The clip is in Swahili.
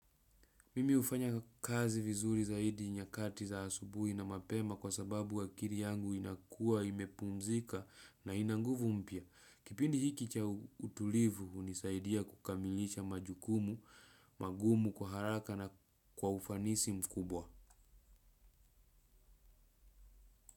Mimi hufanya kazi vizuri zaidi nyakati za asubuhi na mapema kwa sababu akiri yangu inakua, imepumzika na inanguvu mpya. Kipindi hiki cha utulivu hunisaidia kukamilisha majukumu, magumu kwa haraka na kwa ufanisi mkubwa.